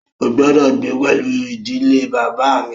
Ó gbọ́dọ̀ gbé pẹlú ìdílé bàbá à mi!